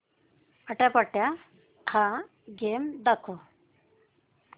आट्यापाट्या हा गेम दाखव